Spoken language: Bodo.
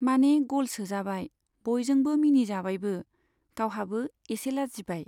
माने ग'ल सोजाबाय , बयजोंबो मिनिजाबायबो, गावहाबो एसे लाजिबाय।